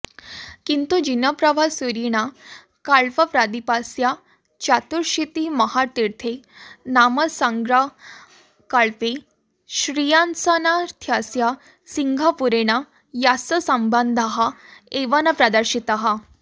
किन्तु जिनप्रभसूरिणा कल्पप्रदीपस्य चतुरशीतिमहातीर्थनामसङ्ग्रहकल्पे श्रेयांसनाथस्य सिंहपुरेण सह सम्बन्धः एव न प्रदर्शितः